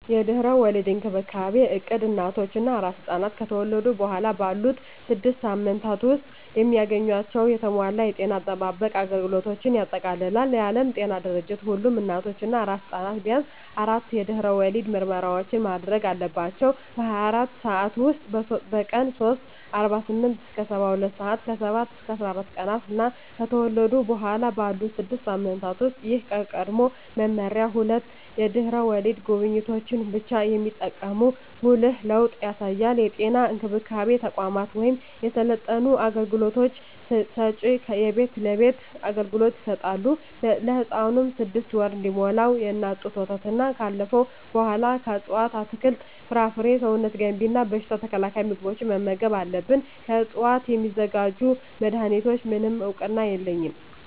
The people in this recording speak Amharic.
የድህረ ወሊድ እንክብካቤ እቅድ እናቶች እና አራስ ሕፃናት ከተወለዱ በኋላ ባሉት ስድስት ሳምንታት ውስጥ የሚያገኟቸውን የተሟላ የጤና አጠባበቅ አገልግሎቶችን ያጠቃልላል። የዓለም ጤና ድርጅት ሁሉም እናቶች እና አራስ ሕፃናት ቢያንስ አራት የድህረ ወሊድ ምርመራዎችን ማድረግ አለባቸው - በ24 ሰዓት ውስጥ፣ በቀን 3 (48-72 ሰአታት)፣ ከ7-14 ቀናት እና ከተወለዱ በኋላ ባሉት 6 ሳምንታት ውስጥ። ይህ ከቀድሞው መመሪያ ሁለት የድህረ ወሊድ ጉብኝቶችን ብቻ የሚጠቁም ጉልህ ለውጥ ያሳያል። የጤና እንክብካቤ ተቋማት ወይም የሰለጠኑ አገልግሎት ሰጭዎች የቤት ለቤት አገልግሎት ይሰጣሉ። ለህፃኑም 6ወር እስኪሞላው የእናት ጡት ወተትና ካለፈው በኃላ ከእፅዋት አትክልት፣ ፍራፍሬ ሰውነት ገንቢ እና በሽታ ተከላካይ ምግቦችን መመገብ አለብን። ከዕፅዋት ስለሚዘጋጁ መድኃኒቶች፣ ምንም እውቅና የለኝም።